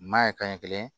Maa ye kaɲɛ kelen